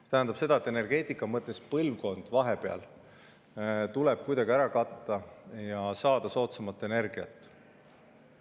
See tähendab, et energeetika mõttes tuleb põlvkonna vahepeal kuidagi ära katta ja saada soodsamat energiat.